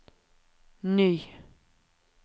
ny